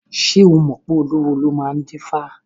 Ṣé o mọ̀ pé olúwo ló máa ń dífá?